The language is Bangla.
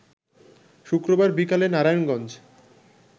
শুক্রবার বিকেলে নারায়ণগঞ্জ